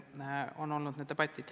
Nüüd lasteaedadest.